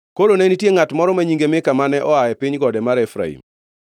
Koro ne nitie ngʼat moro ma nyinge Mika mane oa e piny gode mar Efraim,